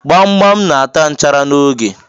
Gbam gbam na ata nchara n'oge.